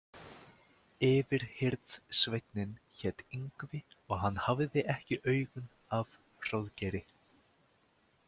Yfirhirðsveinninn hét Yngvi og hann hafði ekki augun af Hróðgeiri.